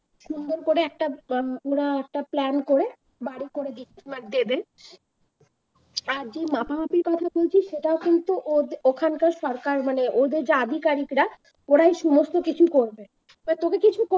সুন্দর করে একটা উম মনে হয় একটা plan করে বাড়ি করে দিচ্ছে না দেবে আর যে মাপামাপির কাজ করছিস সেটা কিন্তু ওদে ওখানকার সরকার মানে ওদের যে আধিকারিকেরা ওরাই সমস্ত কিছু করবে। তোকে কিছু